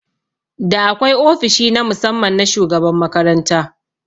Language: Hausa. Da akwai ofishi na musamman na shugaban makaranta